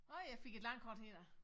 Åh jeg fik et landkort her